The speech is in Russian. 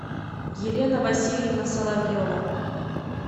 елена васильевна соловьева